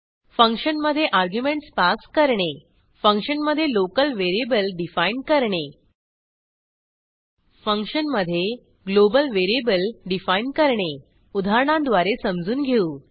फंक्शनमधे argument pass करणे फंक्शनमधे लोकल व्हेरिएबल डिफाईन करणे फंक्शनमधे ग्लोबल व्हेरिएबल डिफाईन करणे उदाहरणांद्वारे समजून घेऊ